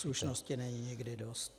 Slušnosti není nikdy dost.